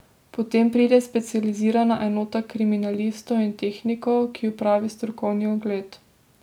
Potem pride specializirana enota kriminalistov in tehnikov, ki opravi strokovni ogled.